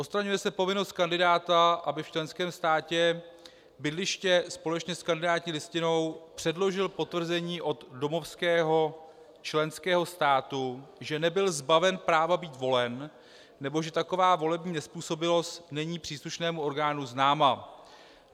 Odstraňuje se povinnost kandidáta, aby v členském státě bydliště společně s kandidátní listinou předložil potvrzení od domovského členského státu, že nebyl zbaven práva být volen nebo že taková volební nezpůsobilost není příslušnému orgánu známa.